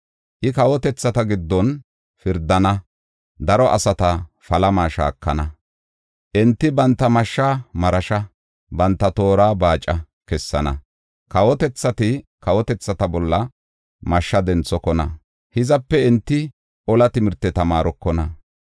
I kawotethata giddon pirdana; daro asata palama shaakana. Enti banta mashshaa marasha, banta toora baaca kessana. Kawotethati kawotethata bolla mashsha denthokona; hizape enti ola timirte tamaarokona.